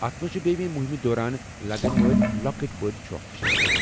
اتھ منٛز چھِ بییہِ مُہِمہِ دوران لگن وٲلۍ لو٘كٕٹۍ بٕڈۍ چھو٘كھ تہِ شٲمِل ۔